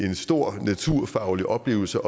en stor naturfaglig oplevelse